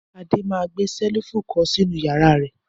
Adé máa gbé ṣẹ́lífù kọ́ sínú ìyàrá rẹ̀!